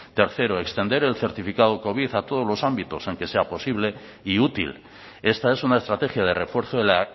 tercero extender el certificado covid a todos los ámbitos en sea posible y útil esta es una estrategia de refuerzo de la